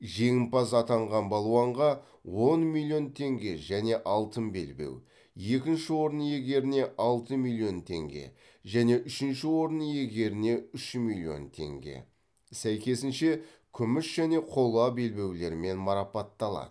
жеңімпаз атанған балуанға он миллион теңге және алтын белбеу екінші орын иегеріне алты миллион теңге және үшінші орын иегеріне үш миллион теңге сәйкесінше күміс және қола белбеулермен марапатталады